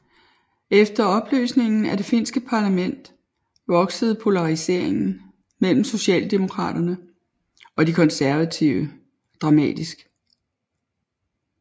Efter opløsningen af det finske parlament voksede polariseringen mellem socialdemokraterne og de konservative dramatisk